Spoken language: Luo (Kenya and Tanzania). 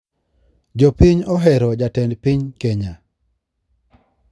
Jopiny ohero jatend piny kenya